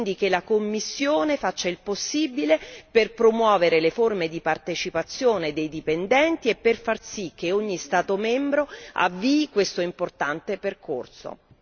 È importante quindi che la Commissione faccia il possibile per promuovere le forme di partecipazione dei dipendenti e per far sì che ogni Stato membro avvii questo importante percorso.